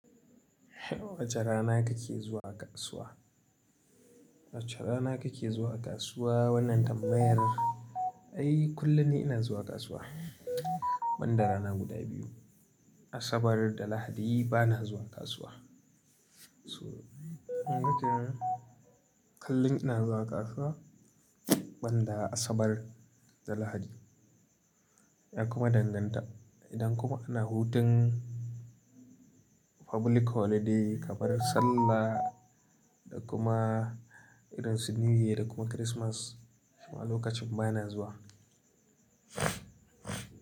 Wace rana kake zuwa kasuwa? Wace rana kake zuwa kasuwa? Wannan tambayar, ai kullum ni ina zuwa kasuwa, banda rana guda biyu. Asabar da Lahadi bana zuwa kasuwa. So, kullun ina zuwa kasuwa, banda Asabar da Lahadi. Ya kuma danganta. Idan kuma ana hutun public holiday kamar Sallah, da kuma irin su New Year da kuma Christmas, kuma lokacin ba na zuwa.